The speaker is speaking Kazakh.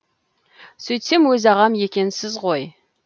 сөйтсем өз ағам екенсіз ғой